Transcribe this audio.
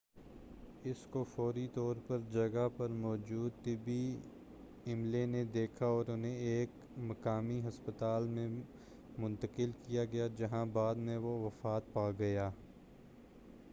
اس کو فوری طور پر جگہ پر موجود طبی عملے نے دیکھا اور اُنہیں ایک مقامی ہسپتال میں منتقل کیا گیا جہاں بعد میں وہ وفات پاگیا